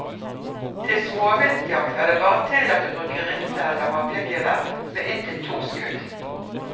Til småviltjakt er det bare tillatt å bruke rifle eller haglgevær med inntil to skudd.